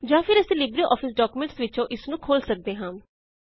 ਜਾਂ ਫੇਰ ਅਸੀਂ ਲਿਬਰੇਆਫਿਸ ਡੌਕਯੂਮੈਂਟਸ ਵਿੱਚੋਂ ਇਸਨੂੰ ਖੋਲ਼ ਸਕਦੇ ਹਾਂ